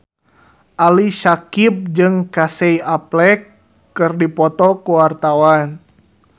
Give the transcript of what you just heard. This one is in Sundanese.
Ali Syakieb jeung Casey Affleck keur dipoto ku wartawan